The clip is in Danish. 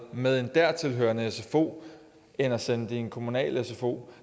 med en dertil hørende sfo end at sende det i en kommunal sfo